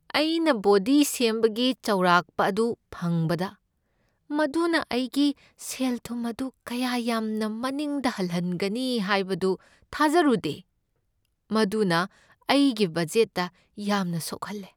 ꯑꯩꯅ ꯕꯣꯗꯤ ꯁꯦꯝꯕꯒꯤ ꯆꯥꯎꯔꯥꯛꯄ ꯑꯗꯨ ꯐꯪꯕꯗ, ꯃꯗꯨꯅ ꯑꯩꯒꯤ ꯁꯦꯜꯊꯨꯝ ꯑꯗꯨ ꯀꯌꯥ ꯌꯥꯝꯅ ꯃꯅꯤꯡꯗ ꯍꯜꯍꯟꯒꯅꯤ ꯍꯥꯏꯕꯗꯨ ꯊꯥꯖꯔꯨꯗꯦ ꯫ ꯃꯗꯨꯅ ꯑꯩꯒꯤ ꯕꯗꯖꯦꯠꯇ ꯌꯥꯝꯅ ꯁꯣꯛꯍꯜꯂꯦ꯫